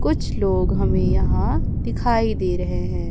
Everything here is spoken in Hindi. कुछ लोग हमें यहां दिखाई दे रहे हैं।